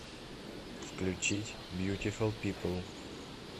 включить бьютифул пипл